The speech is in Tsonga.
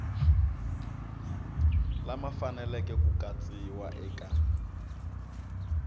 lama faneleke ku katsiwa eka